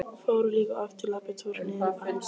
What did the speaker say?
Fóru líka oft í labbitúr niður í bæ.